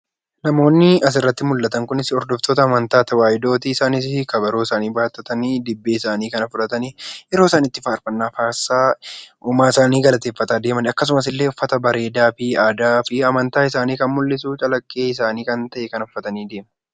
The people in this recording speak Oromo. Namoonni asirratti mul'atan kunis hordoftoota amantaa tawaayidooti. isaanis kabaroo isaanii baattatanii dibbee isaanii kana fudhatanii yeroo isaan faarfannaa faarsaa uumaa isaanii galateeffataa deemanidha . Akkasumasillee uffata bareedaa aadaa fi amantaa isaanii kan mul'isu, calaqqee isaanii kan ta'e kana uffatanii deemu.